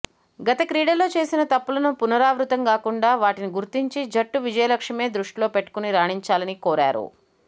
గత క్రీడల్లో చేసిన తప్పులను పునరావృతం గాకుండా వాటిని గుర్తించి జట్టు విజయ లక్ష్యమే దృష్టిలో పెట్టుకొని రాణించాలని కోరారు